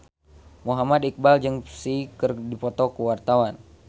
Muhammad Iqbal jeung Psy keur dipoto ku wartawan